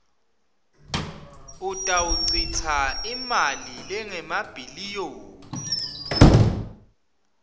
utawuchitsa imali lengemabhiliyoni